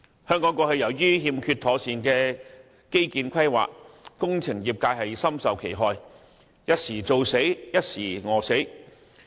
由於過去欠缺妥善的基建規劃，工程業界深受其害，一則"做死"，一則"餓死"。